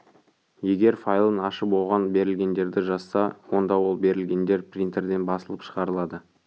егер файлын ашып оған берілгендерді жазса онда ол берілгендер принтерден басылып шығарылады